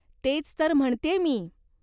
तेच तर म्हणतेय मी.